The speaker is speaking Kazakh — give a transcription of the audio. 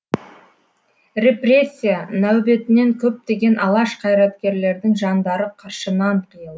репрессия нәубетінен көптеген алаш қайраткерлердің жандары қыршынынан қиылды